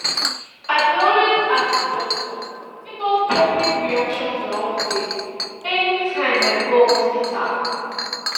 i dey always ask the doctor about public reaction to outbreak anytym i go hospital